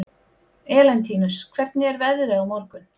Elentínus, hvernig er veðrið á morgun?